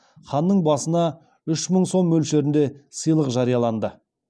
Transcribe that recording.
ханның басына үш мың сом мөлшерінде сыйлық жарияланды